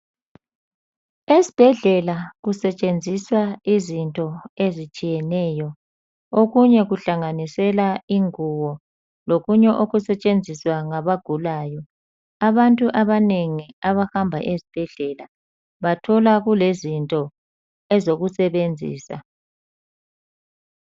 Esibhedlela kusetshenziswa izinto ezitshiyeneyo, okunye kuhlanganisela ingubo, lokunye osetshenziswa ngabagulayo. Abantu abanengi abahamba esibhedlela, bathola kulezinto ezokusebenzisa.